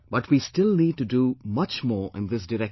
But we still need to do much more in this direction